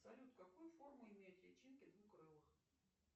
салют какую форму имеют личинки двукрылых